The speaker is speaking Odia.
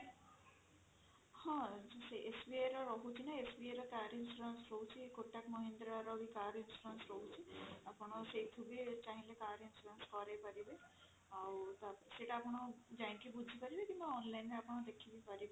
ହଁ SBI ର ରହୁଛି ନା SBI ର car insurance ରହୁଛି kotak mahindra ର ବି car insurance ରହୁଛି ଆପଣ ସେଇଠୁ ବି ଚାହିଁଲେ car insurance କରେଇପାରିବେ ଆଉ ସେଇଟା ଆପଣ ଯାଇକି ବୁଝିପାରିବେ କିମ୍ବା online ରେ ଆପଣ ଦେଖି ବି ପାରିବେ